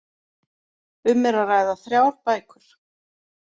Um er að ræða þrjár bækur